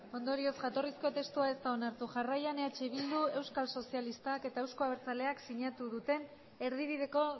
ondorioz jatorrizko testua ez da onartu jarraian eh bildu euskal sozialistak eta euzko abertzaleak sinatu duten erdibideko